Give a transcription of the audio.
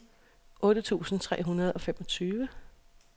otte tusind tre hundrede og femogtyve